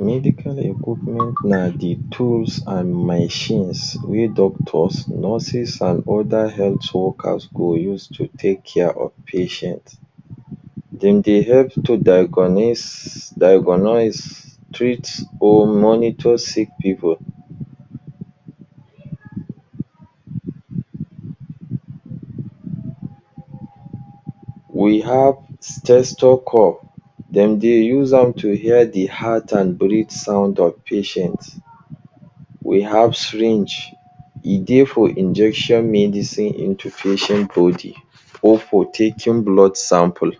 Medical equipment na de pros an machines wey doctors nurses an other health workers go use to take care of patients. Dem dey help to diagonose diagonose treat or monitor sick pipu. We have stethocope; dem dey use am to hear de heart and breath sound of patients. We have syringe; e dey for injection medicine body or for taking blood sample.